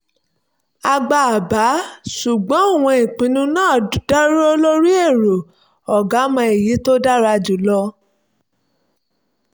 a gba àbá ṣùgbọ́n àwọn ìpinnu náà dúró lórí èrò "ọ̀gá mọ èyí tó dára jùlọ"